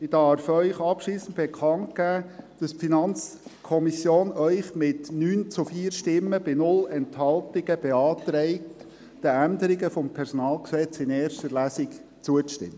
Ich darf Ihnen abschliessend bekannt geben, dass die FiKo Ihnen mit 9 zu 4 Stimmen bei 0 Enthaltungen beantragt, den Änderungen des PG in erster Lesung zuzustimmen.